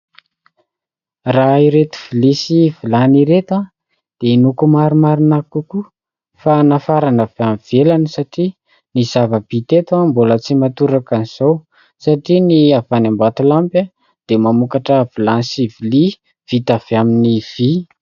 Raha ireto vilia sy vilany ireto dia inoako, marimarina kokoa, fa nafarana avy ivelany. Satria ny zava-bita eto mbola tsy mahatoraka an'izao, satria ny avy any Ambatolampy dia mamokatra vilany sy vilia vita avy amin'ny vy.